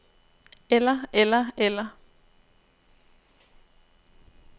eller eller eller